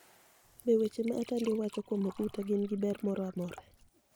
Be weche ma Atanidi owacho kuom Oguta gini gi ber moro amora.